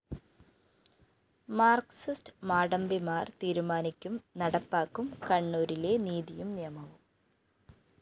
Marxist മാടമ്പിമാര്‍ തീരുമാനിക്കും നടപ്പാക്കും കണ്ണൂരിലെ നീതിയും നിയമവും